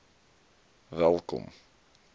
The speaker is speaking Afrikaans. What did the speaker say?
welkom